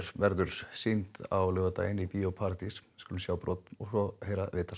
verður sýnd á laugadaginn í bíó paradís sjáum brot og heyrum viðtal